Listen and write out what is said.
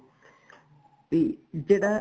ਵੀ ਜਿਹੜਾ